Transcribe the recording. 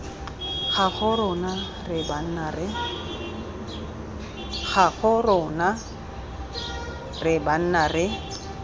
gago rona re banna re